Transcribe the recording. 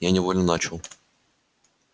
я невольно начал